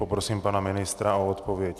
Poprosím pana ministra o odpověď.